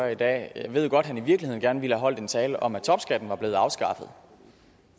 i dag jeg ved godt at han i virkeligheden gerne ville have holdt en tale om at topskatten var blevet afskaffet